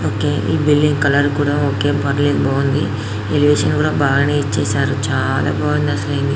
okay a building colour కూడా okay పర్లేదు బాగుంది ఎలేవేషన్ కూడా బాగేఇచ్చారు చాల బాగుంది అసలు